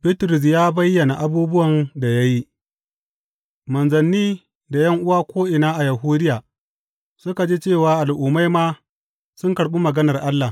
Bitrus ya bayyana abubuwan da ya yi Manzanni da ’yan’uwa ko’ina a Yahudiya suka ji cewa Al’ummai ma sun karɓi maganar Allah.